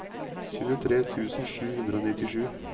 tjuetre tusen sju hundre og nittisju